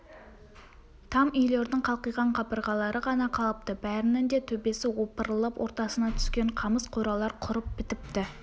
там үйлердің қалқиған қабырғалары ғана қалыпты бәрінің де төбесі опырылып ортасына түскен қамыс қоралар құрып бітіпті